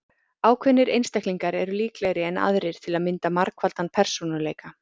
Ákveðnir einstaklingar eru líklegri en aðrir til að mynda margfaldan persónuleika.